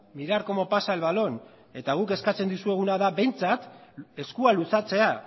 mirar cómo pasa el balón eta guk eskatzen dizueguna da behintzat eskua luzatzea